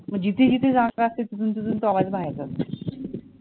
मग जिथे जिथे जागा असते तिथून तिथून तो आवाज बाहेर जात असतो.